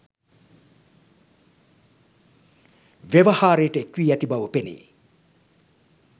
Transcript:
ව්‍යවහාරයට එක් වී ඇති බව පෙනේ.